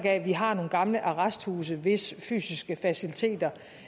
af at vi har nogle gamle arresthuse hvis fysiske faciliteter